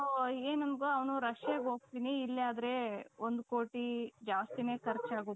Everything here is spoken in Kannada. so ಏನಂದ ಅವನು Russiaಗೆ ಹೋಗ್ತೀನಿ ಇಲ್ಲೇ ಆದ್ರೆ ಒಂದು ಕೋಟಿ ಜಾಸ್ತಿನೇ ಖರ್ಚು ಆಗುತ್ತೆ